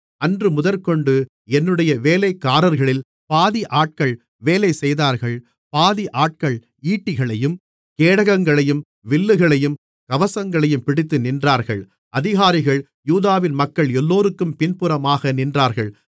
அன்றுமுதற்கொண்டு என்னுடைய வேலைக்காரர்களில் பாதி ஆட்கள் வேலை செய்தார்கள் பாதி ஆட்கள் ஈட்டிகளையும் கேடகங்களையும் வில்லுகளையும் கவசங்களையும் பிடித்து நின்றார்கள் அதிகாரிகள் யூதாவின் மக்கள் எல்லோருக்கும் பின்புறமாக நின்றார்கள்